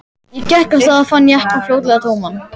Ég gekk af stað og fann jeppann fljótlega tóman.